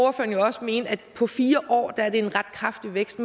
jo også mene at det på fire år er en ret kraftig vækst